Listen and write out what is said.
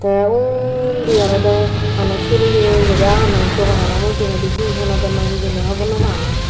te undi olode manuch huriye guri agonnoi doganano mujeigendi he hinodonnoi hijeni hijeni hogor no pangor.